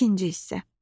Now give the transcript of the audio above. İkinci hissə.